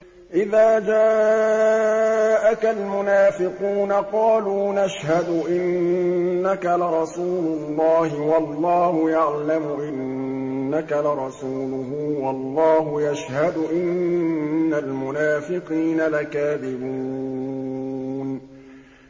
إِذَا جَاءَكَ الْمُنَافِقُونَ قَالُوا نَشْهَدُ إِنَّكَ لَرَسُولُ اللَّهِ ۗ وَاللَّهُ يَعْلَمُ إِنَّكَ لَرَسُولُهُ وَاللَّهُ يَشْهَدُ إِنَّ الْمُنَافِقِينَ لَكَاذِبُونَ